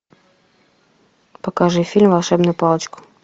покажи фильм волшебная палочка